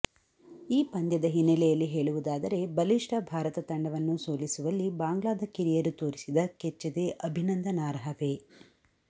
ಈ ಪಂದ್ಯದ ಹಿನ್ನೆಲೆಯಲ್ಲಿ ಹೇಳುವುದಾದರೆ ಬಲಿಷ್ಠ ಭಾರತ ತಂಡವನ್ನು ಸೋಲಿಸುವಲ್ಲಿ ಬಾಂಗ್ಲಾದ ಕಿರಿಯರು ತೋರಿಸಿದ ಕೆಚ್ಚೆದೆ ಅಭಿನಂದನಾರ್ಹವೇ